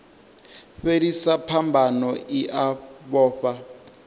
fhelisa phambano i a vhofha